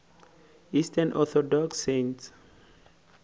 eastern orthodox saints